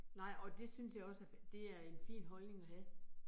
Nej, og det synes jeg også er, det er en fin holdning at have